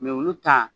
olu ta